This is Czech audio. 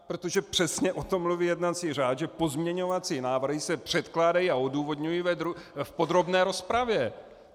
Protože přesně o tom mluví jednací řád, že pozměňovací návrhy se předkládají a odůvodňují v podrobné rozpravě.